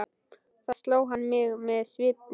Þá sló hann mig með svipunni.